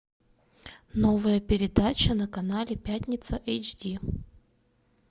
новая передача на канале пятница эйч ди